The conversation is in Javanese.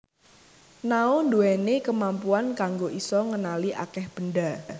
Nao ndhuwèni kemampuan kanggo isa ngenali akèh benda